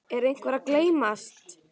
Er einhver að gleymast?